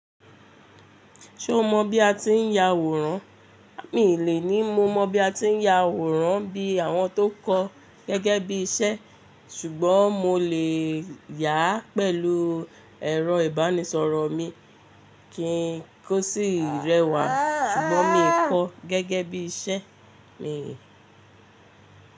Ṣé o mọ bí a ti ń ya àwòrán? Mi lè ní mo mọ̀ bí a ti ń ya àwòrán bí àwọn tó kọ́ gẹ́gẹ́ bí iṣẹ́ ṣùgbọ́n mo lè yà á pẹ̀lú ẹ̀rọ ìbánisọ̀rọ̀ mi kí n tó sì rẹwà ṣùgbọ́n mi kò kó gẹ́gẹ́ bí iṣẹ́ mi.